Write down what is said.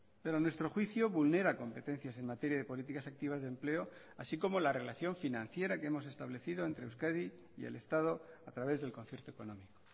pero a nuestro juicio vulnera competencias en materia de políticas activas de empleo así como la relación financiera que hemos establecido entre euskadi y el estado a través del concierto económico